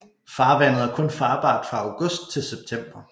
Farvandet er kun farbart fra august til september